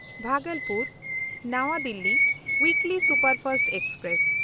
ᱵᱷᱟᱜᱚᱞᱯᱩᱨ–ᱱᱟᱣᱟ Delhi weekly superfast express